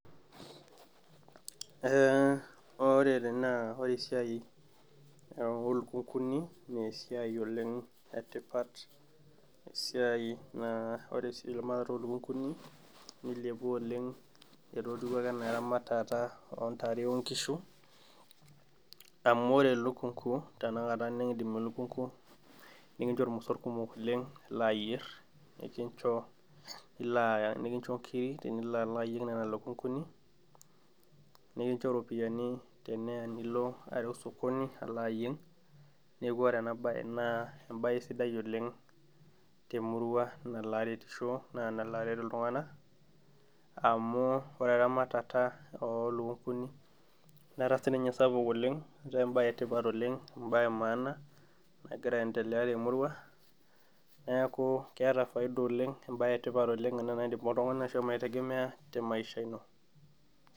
Eeh ore tene naa ore esiai olukunguni nesiai oleng etipat esiai naa ore sii eramatata olukunguni nilepa oleng etotiwuo ake enaa eramatata ontare onkishu amu ore elukungu tena kata nekindim elukungu nikincho irmosorr kumok oleng lilo ayierr nikincho nilo nikincho inkiri tenilo alo ayieng nana lukunguni nekincho iropiyiani teneya nilo areu sokoni alo ayieng neeku ore ena baye naa embaye sidai oleng temurua nalo aretisho naa nalo aret iltung'anak amu ore eramatata olukunguni netaa sininye sapuk etaa embaye etipat oleng embaye e maana nagira aendelea temurua neeku keeta faida oleng embaye etipat ena oleng naidim oltung'ani ashomo aitegemea te maisha ino.